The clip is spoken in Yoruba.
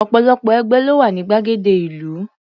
Ọ̀pọ̀lọpọ̀ ẹgbẹ́ ló wà ní gbàgede ìlú.